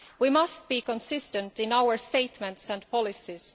We must be consistent in our statements and policies.